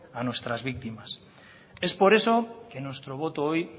a nuestras víctimas es por eso que nuestro voto hoy